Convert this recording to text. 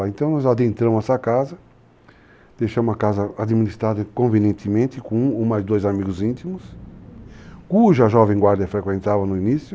Então nós adentramos essa casa, deixamos a casa administrada convenientemente com um ou mais amigos íntimos, cuja jovem guarda frequentava no início,